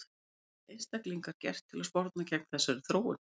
En hvað geta einstaklingar gert til að sporna gegn þessari þróun?